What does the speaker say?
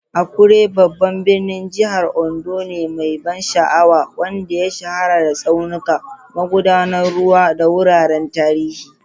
Akure babban birnin jihar Ondo ne mai ban sha'awa, wanda ya shahara da tsaunuka, magudanan ruwa, da wuraren tarihi.